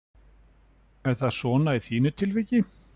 Er það svo í þínu tilviki?